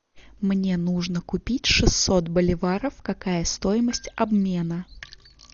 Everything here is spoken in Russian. мне нужно купить шестьсот боливаров какая стоимость обмена